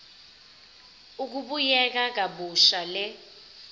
ukubuyekeza kabusha le